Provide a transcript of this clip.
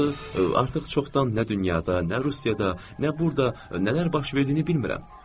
Axı artıq çoxdan nə dünyada, nə Rusiyada, nə burda, nələr baş verdiyini bilmirəm.